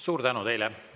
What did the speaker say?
Suur tänu teile!